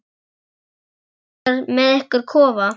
Eruð þið búnir með ykkar kofa?